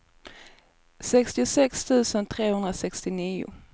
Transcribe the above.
sextiosex tusen trehundrasextionio